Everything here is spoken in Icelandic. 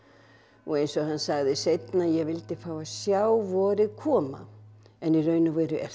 og eins og hann sagði seinna ég vildi fá að sjá vorið koma en í raun og veru er